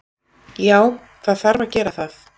Já, það þarf að gera það.